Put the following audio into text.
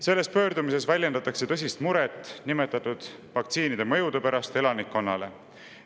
Selles pöördumises väljendatakse tõsist muret nimetatud vaktsiinide mõjude pärast elanikkonnale.